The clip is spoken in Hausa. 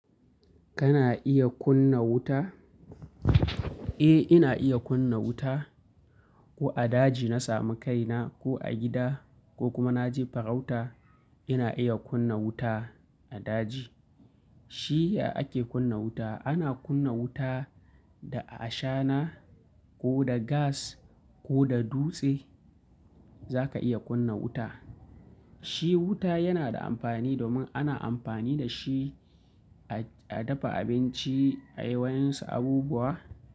Kana iya kunna wuta? Eh, ina iya kunna wuta. Ko a daji na samu kaina ko a gida ko kuma na je farauta ina iya kunna wuta a daji. Shi ya ake kunna wuta? Ana kunna wuta da ashana, ko da gas, ko da dutse, zaka iya kunna wuta. Shi wuta yana da amfani domin ana amfani da shi a, a dafa abinci a yi wayansu abubuwa.